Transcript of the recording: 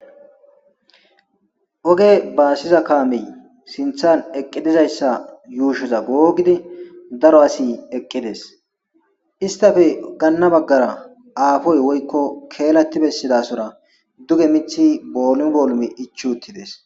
Oge baassiza kaamey sinthan eqqidizayssa yuushoza googidi daro asi eqqides istafe ganna baggara aafoy woykko keelati bessidasora duge mithi boolum boolumi ichi uttides.